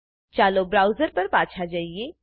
ચાલો બ્રાઉઝર પર પાછા જઈએ